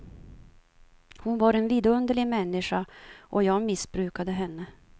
Hon var en vidunderlig människa, och jag missbrukade henne.